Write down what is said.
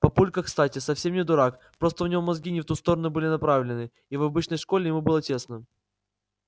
папулька кстати совсем не дурак просто у него мозги не в ту сторону были направлены и в обычной школе ему было тесно